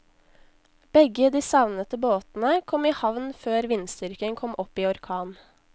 Begge de savnede båtene kom i havn før vindstyrken kom opp i orkan.